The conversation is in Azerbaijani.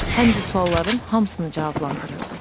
Həm də sualların hamısını cavablandırırdı.